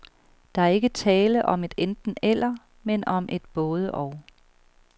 Der er ikke tale om et enten-eller, men om et både-og.